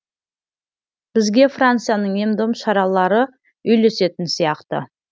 бізге францияның ем дом шаралары үйлесетін сияқты